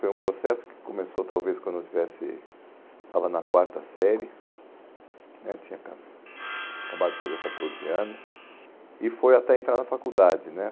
Foi um processo que começou talvez quando eu estivesse estava na quarta série né, tinha aca acabado de fazer catorze anos, e foi até entrar na faculdade, né?